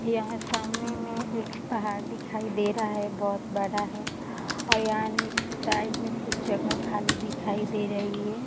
यहाँ सामने में एक पहाड़ दिखाई दे रहा है बोहोत बड़ा है और यहाँ साइड में कुछ जगह खाली दिखाई दे रही है।